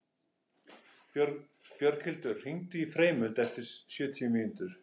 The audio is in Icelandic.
Björghildur, hringdu í Freymund eftir sjötíu mínútur.